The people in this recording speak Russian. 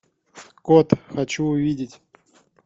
кот хочу увидеть